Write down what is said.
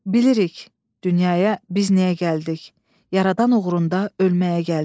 Bilirik, dünyaya biz niyə gəldik, yaradan uğrunda ölməyə gəldik.